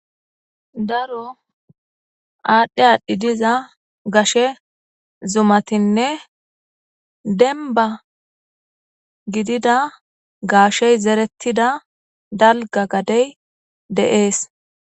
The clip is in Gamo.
Daro aadhdhe aadhdhi diza gashe zumatinne denba gidida gaashey zerettida dalga gadey deees